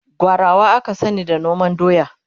gwarawa aka sani da noman doya